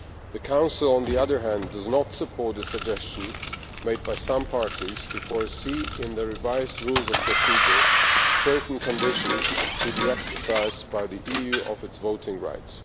The Council, on the other hand, does not support the suggestion made by some parties to foresee in the revised Rules of Procedure certain conditions to the exercise by the EU of its voting right.